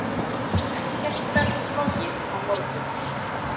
Ekkert verður flogið á morgun.